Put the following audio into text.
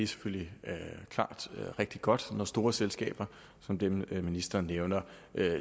selvfølgelig rigtig godt når store selskaber som dem ministeren nævner